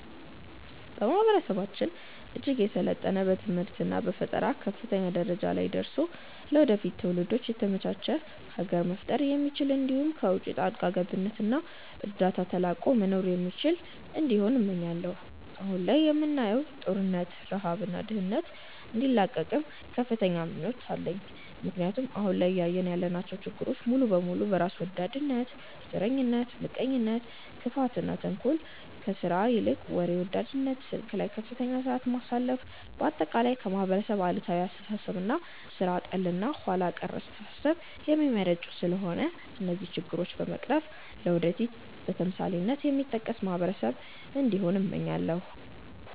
ማህበረሰባችን እጅግ የሰለጠነ በትምህርት እና በፈጠራ ከፍተኛ ደረጃ ላይ ደርሶ ለወደፊት ትውልዶች የተመቻች ሀገር መፍጠር የሚችል እንዲሁም ከውቺ ጣልቃ ገብነት እና እርዳታ ተላቆ መኖር የሚችል እንዲሆን እመኛለው። አሁን ላይ የምናየውን ጦርነት፣ ረሃብ እና ድህነት እንዲላቀቅም ከፍተኛ ምኞት አለኝ ምክንያቱም አሁን ላይ እያየን ያለናቸው ችግሮች ሙሉ በሙሉ በራስ ወዳድነት፣ ዘረኝነት፣ ምቀኝነት፣ ክፋት፣ ተንኮል፣ ከስራ ይልቅ ወሬ ወዳድነት፣ ስልክ ላይ ከፍተኛ ሰዓት ማሳለፍ፣ በአጠቃላይ ከማህበረሰብ አሉታዊ አስተሳሰብ እና ሥራ ጠል እና ኋላ ቀር አስተሳሰብ የሚመነጩ ስለሆነ እነዚህን ችግሮች በመቅረፍ ለወደፊት በተምሳሌትነት የሚጠቀስ ማህበረሰብ እንዲሆን እመኛለው።